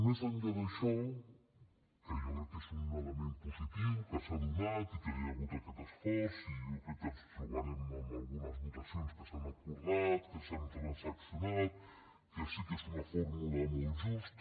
més enllà d’això que jo crec que és un element positiu que s’ha donat i que hi ha hagut aquest esforç i jo crec que ens trobarem amb algunes votacions que s’han acordat que s’han transaccionat que sí que és una fórmula molt justa